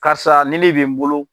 Karisa ni ne bɛ n bolo.